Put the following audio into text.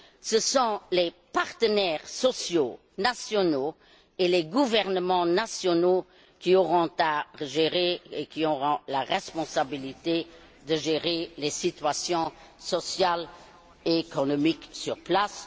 Ce sont les partenaires sociaux nationaux et les gouvernements nationaux qui auront la responsabilité de gérer les situations sociales et économiques sur place.